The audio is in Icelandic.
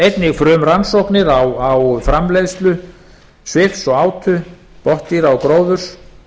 einnig frumrannsóknir á framleiðslu svifs og átu botndýra og gróðurs